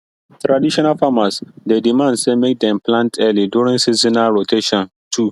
traditional farmers dey demand say make dem plant early during seasonal rotation too